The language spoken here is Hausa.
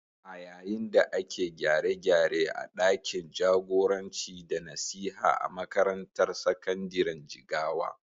A yayin da ake gyare-gyare a ɗakin jagoranci da nasiha a makarantar sakandiren Jigawa.